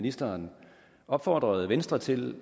ministeren opfordre venstre til